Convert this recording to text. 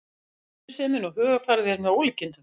Vinnusemin og hugarfarið er með ólíkindum